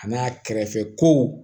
A n'a kɛrɛfɛ ko